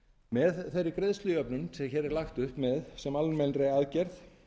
með þeirri greiðslujöfnun sem hér er lagt upp með sem almennri aðgerð